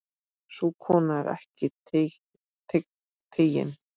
Sú kona er ekki tigin.